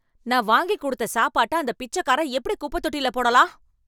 நான் வாங்கி கொடுத்த சாப்பாட்ட அந்த பிச்சக்காரன், எப்படி குப்பைத்தொட்டில போடலாம்?